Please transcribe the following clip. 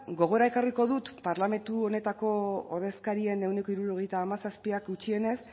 gogora ekarriko dut parlamentu honetako ordezkarien ehuneko hirurogeita hamazazpiak gutxienez